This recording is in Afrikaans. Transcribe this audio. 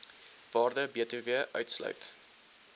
waarde btw uitsluit